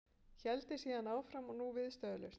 Héldi síðan áfram og nú viðstöðulaust